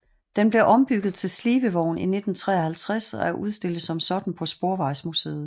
Den blev ombygget til slibevogn i 1953 og er udstillet som sådan på Sporvejsmuseet